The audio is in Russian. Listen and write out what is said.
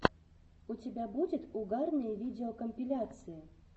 у тебя будет угарные видеокомпиляции